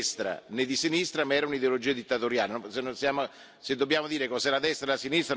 Era un'ideologia che non era né di destra né di sinistra, ma era un'ideologia dittatoriale.